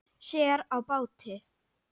Sér á báti.